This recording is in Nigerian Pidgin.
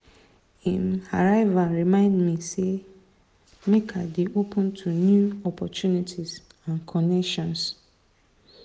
him arrival remind me say make i dey open to new opportunities and connections.